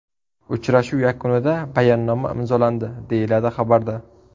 Uchrashuv yakunida bayonnoma imzolandi”, deyiladi xabarda.